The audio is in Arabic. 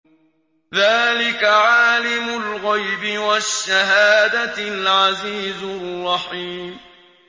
ذَٰلِكَ عَالِمُ الْغَيْبِ وَالشَّهَادَةِ الْعَزِيزُ الرَّحِيمُ